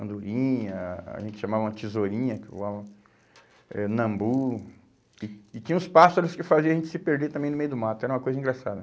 andorinha, a gente chamava tesourinha, que voava, é nambu, que e tinha os pássaros que faziam a gente se perder também no meio do mato, era uma coisa engraçada.